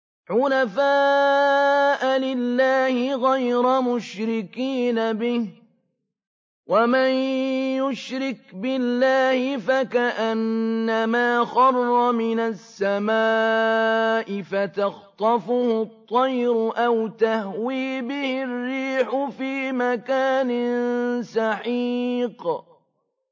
حُنَفَاءَ لِلَّهِ غَيْرَ مُشْرِكِينَ بِهِ ۚ وَمَن يُشْرِكْ بِاللَّهِ فَكَأَنَّمَا خَرَّ مِنَ السَّمَاءِ فَتَخْطَفُهُ الطَّيْرُ أَوْ تَهْوِي بِهِ الرِّيحُ فِي مَكَانٍ سَحِيقٍ